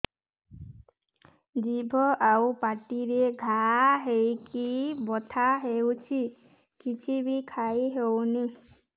ଜିଭ ଆଉ ପାଟିରେ ଘା ହେଇକି ବଥା ହେଉଛି କିଛି ବି ଖାଇହଉନି